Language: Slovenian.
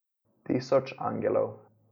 Tisoč angelov.